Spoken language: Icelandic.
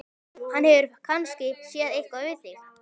Hann hefur kannski séð eitthvað við þig!